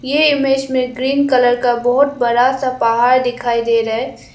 यह इमेज में green colour का बहुत बड़ा सा पहाड़ दिखाई दे रहा है।